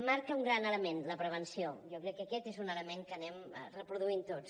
marca un gran element la prevenció jo crec que aquest és un element que anem reproduint tots